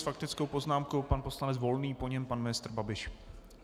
S faktickou poznámkou pan poslanec Volný, po něm pan ministr Babiš.